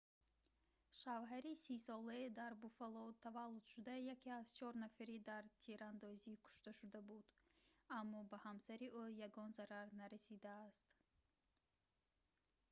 шавҳари 30-солаи дар буффало таваллудшуда яке аз чор нафари дар тирандозӣ кушташуда буд аммо ба ҳамсари ӯ ягон зарар нарасидааст